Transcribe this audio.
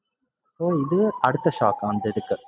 so இதுவே அடுத்த shock அந்த இதுக்கு